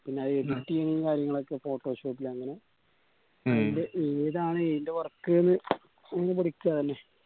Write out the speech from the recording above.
പിന്ന editing ഉം കാര്യങ്ങളൊക്കെ photoshop അങ്ങന ഏതാണ് എയിന്റ work ന്ന്‌ പഠിക്കാ ല്ലേ